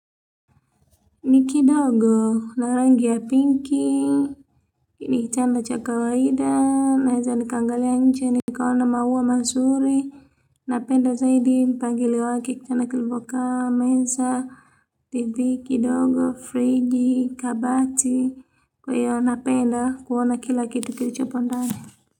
Ni kidogo na rangi ya pinky ni kitanda cha kawaida naweza nikaangalia nje nikaona maua mazuri. Napenda zaidi mpangilio wake kitanda kilipokaa meza TV kidogo fridji kabati kwa hiyo napenda kuona kila kitu kilichopo ndani.